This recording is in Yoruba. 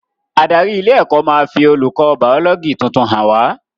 Adarí ilé ẹ́kọ́ máa fi olùkọ́ bàọ́lọ́gì tuntun hàn wá